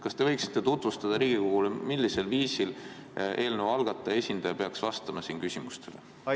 Kas te võiksite tutvustada Riigikogule, millisel viisil eelnõu algataja esindaja peaks siin küsimustele vastama?